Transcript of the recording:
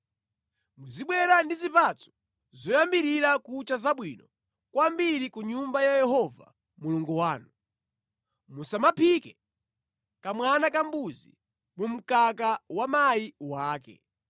“Muzibwera ndi zipatso zoyambirira kucha zabwino kwambiri ku nyumba ya Yehova Mulungu wanu. “Musamaphike kamwana kambuzi mu mkaka wa mayi wake.”